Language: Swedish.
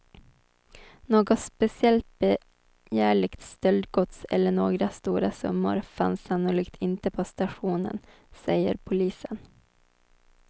Något speciellt begärligt stöldgods eller några stora summor fanns sannolikt inte på stationen, säger polisen.